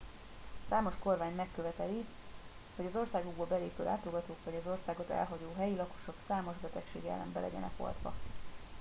számos kormány megköveteli hogy az országukba belépő látogatók vagy az országot elhagyó helyi lakosok számos betegség ellen be legyenek oltva